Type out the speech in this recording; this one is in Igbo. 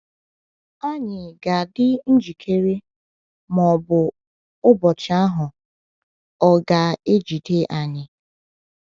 Ànyị ga-adị njikere ma ọ bụ ụbọchị ahụ ọ̀ ga-ejide anyị?